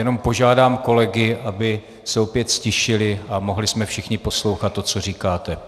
Jenom požádám kolegy, aby se opět ztišili a mohli jsme všichni poslouchat to, co říkáte.